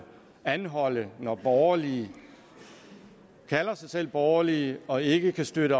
anholde det når borgerlige kalder sig selv borgerlige og ikke kan støtte